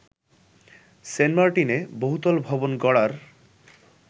সেন্টমার্টিনে বহুতল ভবন গড়ার